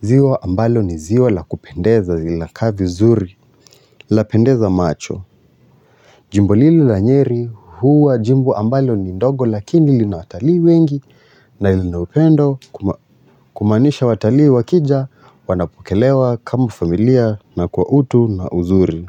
Ziwa ambalo ni ziwa la kupendeza zinakaa vizuri, lapendeza macho. Jimbo lile la nyeri huwa jimbo ambalo ni ndogo lakini lina watalii wengi na lina upendo kumaanisha watalii wakija wanapokelewa kama familia na kwa utu na uzuri.